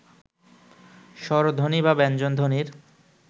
স্বরধ্বনি বা ব্যঞ্জনধ্বনির